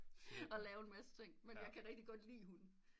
Og lave en masse ting man jeg kan rigitg godt lige hunde